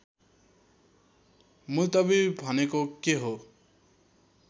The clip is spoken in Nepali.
मुल्तवी भनेको के हो